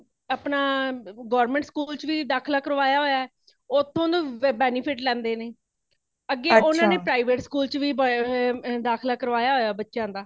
ਆਪਣਾ government school ਵਿਚ ਵੀ ਦਾਖ਼ਲਾ ਕਰਵਾਇਆ ਹੋਇਆ ਹੈ | ਓਥੋਂ ਵੀ benefit ਲੈਂਦੇ ਨੇ , ਅੱਗੇ ਉਨ੍ਹਾਂਨੇ private school ਵਿਚ ਵੇ ਪਾਯਾ ਹੋਇਆ ਹੇ ਦਾਖਲਾ ਕਰਵਾਇਆ ਹੋਇਆ ਹੈ ਬੱਚਿਆਂ ਦਾ